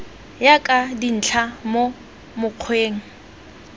ya ka dintlha mo mokgweng